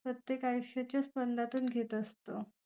प्रत्येक आयुष्याच्या स्पंदातून घेत असतो